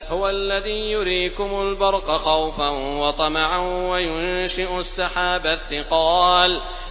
هُوَ الَّذِي يُرِيكُمُ الْبَرْقَ خَوْفًا وَطَمَعًا وَيُنشِئُ السَّحَابَ الثِّقَالَ